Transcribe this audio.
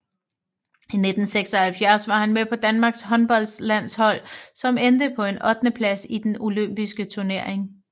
I 1976 var han med på Danmarks håndboldlandshold som endte på en ottendeplads i den Olympiske turnering